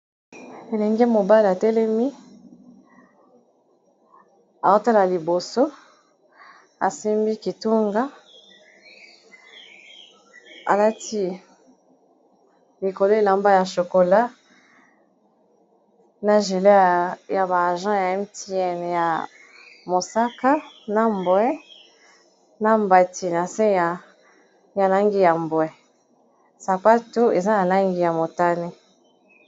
Elenge mobali atelemi aotala liboso asimbi kitunga alati likolo elamba ya chokola na gile ya ba agent ya Mtn ya mosaka na mbwe na mbati na se ya langi ya mbwe sapato eza na langi ya motane.